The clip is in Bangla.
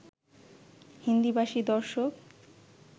হিন্দিভাষী দর্শক